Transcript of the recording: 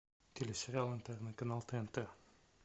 телесериал интерны канал тнт